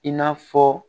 I n'a fɔ